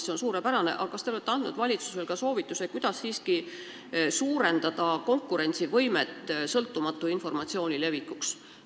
See on suurepärane, aga kas te olete andnud valitsusele ka soovituse, kuidas siiski üldse parandada sõltumatu informatsiooni levikut?